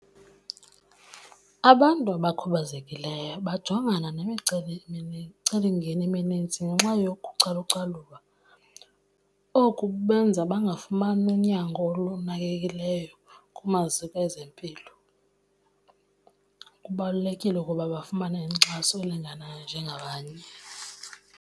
Abantu abakhubazekileyo bajongana nemicelimngeni eminintsi ngenxa yokucalucalulwa. Oku kubenza bangafuni unyango olunakekileyo kumaziko ezempilo. Kubalulekile ukuba bafumane inkxaso elinganayo njengabanye.